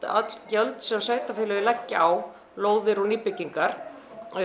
öll gjöld sem sveitarfélögin leggja á lóðir og nýbyggingar